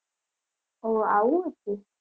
ઓહ આવું હતું.